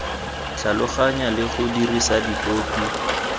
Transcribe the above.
tlhaloganya le go dirisa dipopi